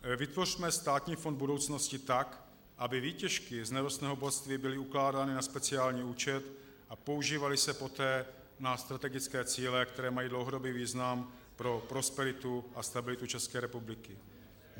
Vytvořme státní fond budoucnosti tak, aby výtěžky z nerostného bohatství byly ukládány na speciální účet a používaly se poté na strategické cíle, které mají dlouhodobý význam pro prosperitu a stabilitu České republiky.